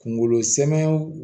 Kungolo sɛmɛ